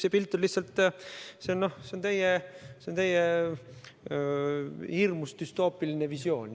See pilt on lihtsalt teie hirmust tekkinud düstoopiline visioon.